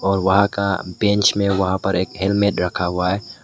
और वहां का बेंच में वहां पर एक हेल्मेट रखा हुआ है।